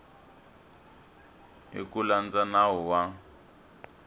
hi ku landza nawu wa